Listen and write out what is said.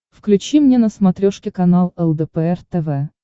включи мне на смотрешке канал лдпр тв